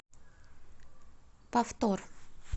повтор